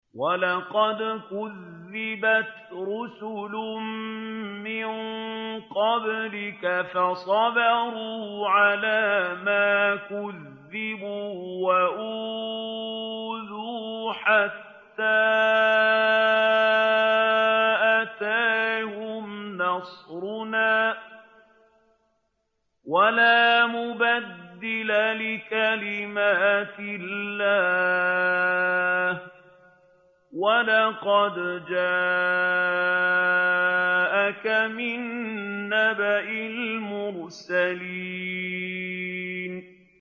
وَلَقَدْ كُذِّبَتْ رُسُلٌ مِّن قَبْلِكَ فَصَبَرُوا عَلَىٰ مَا كُذِّبُوا وَأُوذُوا حَتَّىٰ أَتَاهُمْ نَصْرُنَا ۚ وَلَا مُبَدِّلَ لِكَلِمَاتِ اللَّهِ ۚ وَلَقَدْ جَاءَكَ مِن نَّبَإِ الْمُرْسَلِينَ